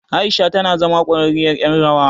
Aisha tana zama ƙwararriyar ƴar rawa.